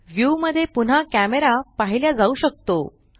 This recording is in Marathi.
व्यू मध्य पुन्हा कॅमरा पाहिल्या जाऊ शकतो